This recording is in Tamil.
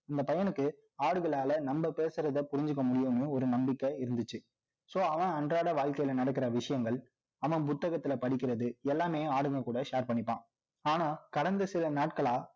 இந்த பையனுக்கு, ஆடுகளால நம்ம பேசுறதை புரிஞ்சுக்க முடியுன்னு, ஒரு நம்பிக்கை இருந்துச்சு so அவன் அன்றாட வாழ்க்கையில நடக்கிற விஷயங்கள், அவன் புத்தகத்துல படிக்கிறது, எல்லாமே ஆடுகள் கூட share பண்ணிப்பான். ஆனால், கடந்த சில நாட்களா